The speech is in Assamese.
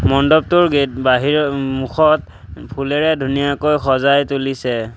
মণ্ডপটোৰ গেট বাহিৰৰ উম মুখত ফুলেৰে ধুনীয়াকৈ সজাই তুলিছে।